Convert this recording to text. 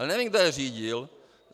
Ale nevím, kdo je řídil.